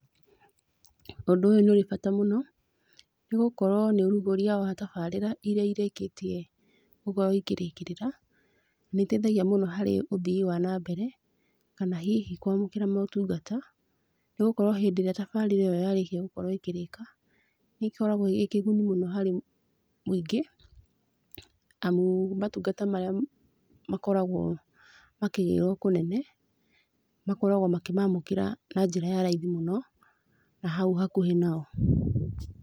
Ũndũ ũyũ nĩ ũrĩ bata mũno, nĩgũkorwo nĩ ũrugũria wa tabarĩra iria irĩkĩtie gũkorwo ikĩrĩkĩrĩra, nĩitethagia mũno harĩ ũthii wa na mbere, kana hihi kwamũkĩra motungata, nĩgũkorwo hĩndĩ ĩrĩa tabarĩra ĩyo yarĩkia gũkorwo ĩkĩrĩka, nĩĩkoragwo ĩrĩ kĩguni mũno harĩ mũingĩ, amu matungata marĩa makoragwo makĩgĩrwo kũnene, makoragwo makĩmamũkĩra na njĩra ya raithi mũno, na hau hakuhĩ nao.